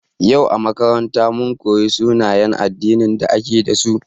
Yau a makaranta, mun koyi sunayen addinin da ake dasu.